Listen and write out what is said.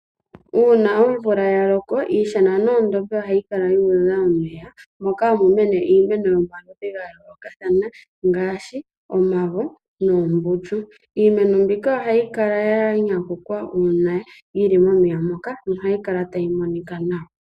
Uuna omvula ya loko iishana noondombe ohayi kala yuudha omeya. Moka hamu mene iimeno yomaludhi gayoolokathana . Ngaashi omavo noombundu. Iimeno mbika ohayi kala ya nyanyukwa uuna yili momeya moka nohayi kala tayi monika nawa.